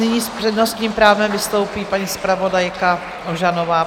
Nyní s přednostním právem vystoupí paní zpravodajka Ožanová.